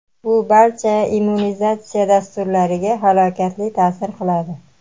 bu barcha immunizatsiya dasturlariga halokatli ta’sir qiladi.